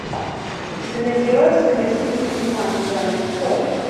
у тебя найдется красивый фильмас жанр спорт